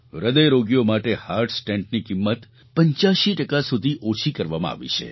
હૃદયરોગીઓ માટે હાર્ટ સ્ટૅન્ટની કિંમત 85 ટકા સુધી ઓછી કરવામાં આવી છે